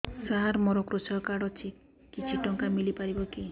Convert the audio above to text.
ସାର ମୋର୍ କୃଷକ କାର୍ଡ ଅଛି କିଛି ଟଙ୍କା ମିଳିବ କି